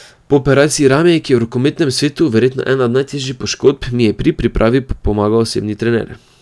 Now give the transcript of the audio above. Po operaciji rame, ki je v rokometnem svetu verjetno ena od najtežjih poškodb, mi je pri pripravi pomagal osebni trener.